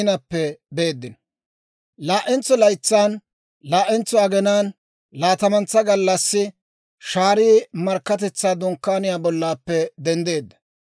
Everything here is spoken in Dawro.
Laa"entsa laytsan laa"entso aginaan laatamantsa gallassi, shaarii Markkatetsaa Dunkkaaniyaa bollappe denddeedda.